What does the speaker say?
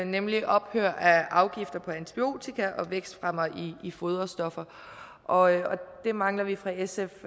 nemlig ophør af afgifter på antibiotika og vækstfremmere i foderstoffer og det mangler vi fra sfs